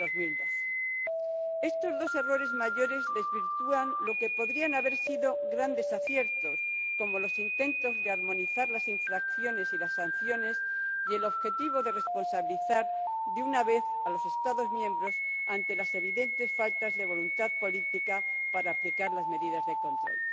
2012. Estos dos errores mayores desvirtúan lo que podrían haber sido grandes aciertos, como los intentos de armonizar las infracciones y las sanciones y el objetivo de responsabilizar de una vez a los Estados miembros ante las evidentes faltas de voluntad política para aplicar las medidas de control.